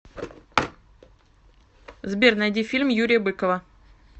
сбер найди фильм юрия быкова